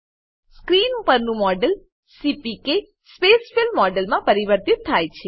screen પરનું model CPK spacefill મોડેલમાં પરિવર્તિત થાય છે